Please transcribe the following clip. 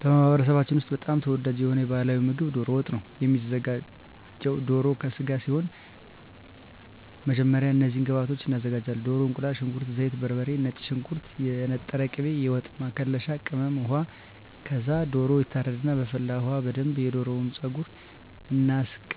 በማኅበረሰባችን ውስጥ በጣም ተወዳጅ የሆነው ባሕላዊ ምግብ ደሮ ወጥ ነው የሚዘጋው ከደሮ ስጋ ሲሆን በመጀመሪያ እነዚህን ግብአቶች እናዘጋጃለን። ደሮ፣ እቁላል፣ ሽንኩርት፣ ዘይት፣ በርበሬ፣ ነጭ ሽንኩርት፣ የተነጠረ ቅቤ፣ የወጥ መከለሻ ቅመም፣ ውሃ ከዛ ደሮው ይታረድና በፈላ ውሀ በደንብ የደሮውን ፀጉር እናስለቅቀውና